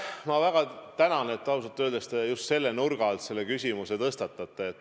Ma väga tänan ausalt öeldes, et te just selle nurga alt selle küsimuse tõstatate.